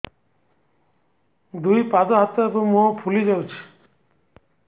ଦୁଇ ପାଦ ହାତ ଏବଂ ମୁହଁ ଫୁଲି ଯାଉଛି